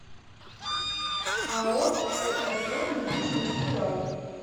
ао лср недвижимость урал